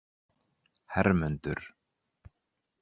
Hermundur